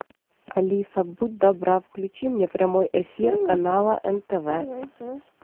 алиса будь добра включи мне прямой эфир канала нтв